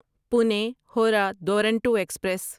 Pune Howrah Duronto express